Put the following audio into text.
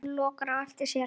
Hann lokar á eftir sér.